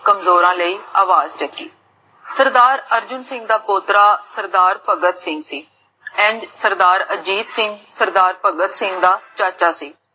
ਕਮਜੋਰਾਂ ਲੈ ਆਵਾਜ ਚੱਕੀ ਸਰਦਾਰ ਅਰਜੁਨ ਸਿੰਘ ਦਾ ਪੋਟਾ ਸਰਦਾਰ ਭਗਤ ਸਿੰਘ ਏੰਡ ਸਰਦਾਰ ਅਜੀਤ ਸਿੰਘ ਸਰਦਾਰ ਭਗਤ ਸਿੰਘ ਦਾ ਚਾਚਾ ਸੀ